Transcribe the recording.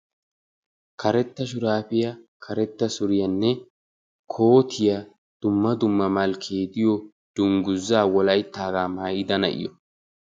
Karetta shuraabiya, karetta suriyanne kootiya dumma dumma malkkee diyo dungguzaa wolayttaagaa maayida na'iyo.